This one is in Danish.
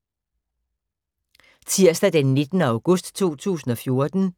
Tirsdag d. 19. august 2014